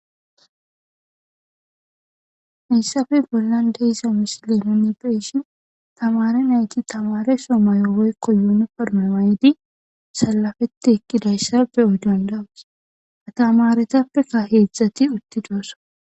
Hayssape bollan de'iza misile nuni be'ishin tamaare nayti tamaareso mayo woykko yuniforme mayidi sallafetti eqqidayssa be'o dandda'oos tamaaretappekka heedzdzati uttidosona.